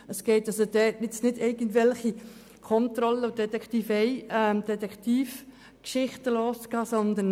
Es geht nicht darum, irgendwelche Kontrollen und Detektivgeschichten loszutreten.